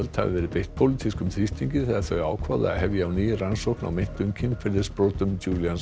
hafi verið beitt pólitískum þrýstingi þegar þau ákváðu að hefja á ný rannsókn á meintum kynferðisbrotum